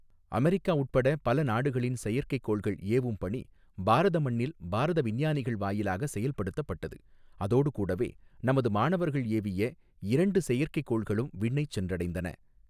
America உட்பட பல நாடுகளின் செயற்கைக்கோள்கள் ஏவும் பணி பாரத மண்ணில், பாரத விஞ்ஞானிகள் வாயிலாக செயல்படுத்தப்பட்டது, அதோடு கூடவே நமது மாணவர்கள் ஏவிய இரண்டு செயற்கைக்கோள்களும் விண்ணைச் சென்றடைந்தன.